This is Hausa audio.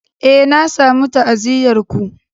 Eh, na samu ta'aziyyar ku.